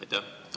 Aitäh!